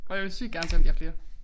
Og jeg vil sygt gerne selv have flere